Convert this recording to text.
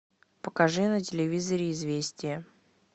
покажи на телевизоре известия